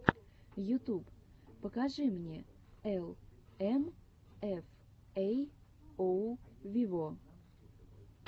ютуб покажи мне эл эм эф эй оу вево